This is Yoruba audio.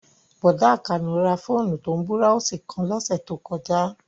Bọ̀dá Àkànó ra fóònù tó ń búráósì kan lọ́sẹ̀ tó kọjá